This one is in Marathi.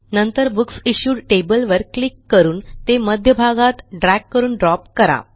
नंतर बुकसिश्यूड टेबल वर क्लिक करून ते मध्यभागात ड्रॅग करून ड्रॉप करा